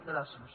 gràcies